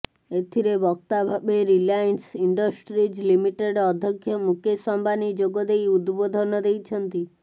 ଏଥିରେ ବକ୍ତା ଭାବେ ରିଲାଏନ୍ସ ଇଣ୍ଡଷ୍ଟ୍ରିଜ୍ ଲିମିଟେଡ୍ ଅଧକ୍ଷ ମୁକେଶ ଅମ୍ବାନୀ ଯୋଗଦେଇ ଉଦବୋଧନ ଦେଇଛନ୍ତି